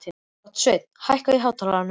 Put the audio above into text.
Gottsveinn, hækkaðu í hátalaranum.